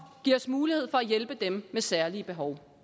giver os mulighed for at hjælpe dem med særlige behov